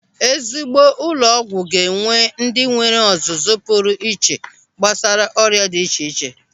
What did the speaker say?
Ezigbo ụlọ ọgwụ ga-enwe ndị nwere ọzụzụ pụrụ iche gbasara ọrịa dị iche iche.